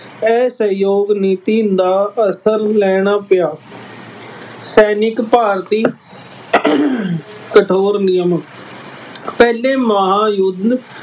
ਇਹ ਸਹਿਯੋਗ ਨੀਤੀ ਦਾ ਅਸਲ ਲੈਣਾ ਪਿਆ। ਸੈਨਿਕ ਭਾਰਤੀ ਕਠੋਰ ਨਿਯਮ, ਪਹਿਲੇ ਮਹਾਂਯੁੱਧ